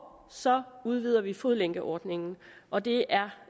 så udvider vi fodlænkeordningen og det er